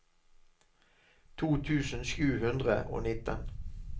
to tusen sju hundre og nitten